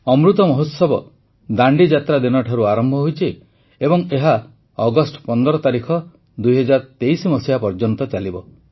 ଅମୃତ ମହୋତ୍ସବ ଦାଣ୍ଡିଯାତ୍ରା ଦିନଠାରୁ ଆରମ୍ଭ ହୋଇଛି ଏବଂ ଏହା ଅଗଷ୍ଟ ୧୫ ୨୦୨୩ ପର୍ଯ୍ୟନ୍ତ ଚାଲିବ